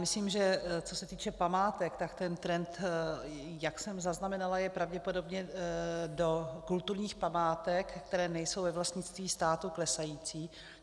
Myslím, že co se týče památek, tak ten trend, jak jsem zaznamenala, je pravděpodobně do kulturních památek, které nejsou ve vlastnictví státu, klesající.